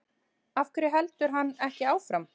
Af hverju heldur hann ekki áfram?